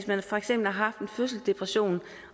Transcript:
man for eksempel har haft en fødselsdepression